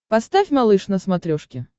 поставь малыш на смотрешке